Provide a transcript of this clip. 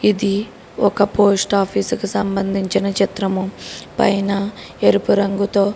ఇది ఒక post office కి సంబంధించిన చిత్రము పైన ఎరుపు రంగుతో --